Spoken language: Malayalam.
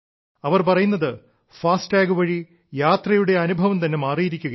അവർ പറയുന്നത് എഅടഠമഴ വഴി യാത്രയുടെ അനുഭവം തന്നെ മാറിയിരിക്കുകയാണ്